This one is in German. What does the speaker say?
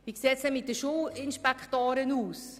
Und wie sieht es mit den Schulinspektoren aus?